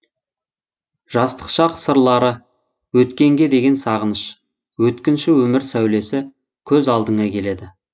жастық шақ сырлары өткенге деген сағыныш өткінші өмір сәулесі көз алдыңа келеді